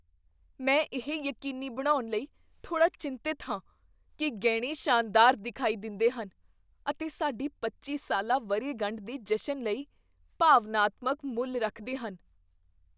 ਮੈਂ ਇਹ ਯਕੀਨੀ ਬਣਾਉਣ ਲਈ ਥੋੜ੍ਹਾ ਚਿੰਤਤ ਹਾਂ ਕੀ ਗਹਿਣੇ ਸ਼ਾਨਦਾਰ ਦਿਖਾਈ ਦਿੰਦੇਹਨ ਅਤੇ ਸਾਡੀ ਪੱਚੀ ਸਾਲਾ ਵਰ੍ਹੇਗੰਢ ਦੇ ਜਸ਼ਨ ਲਈ ਭਾਵਨਾਤਮਕ ਮੁੱਲ ਰੱਖਦੇ ਹਨ।